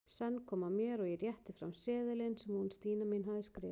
Senn kom að mér og ég rétti fram seðilinn sem hún Stína mín hafði skrifað.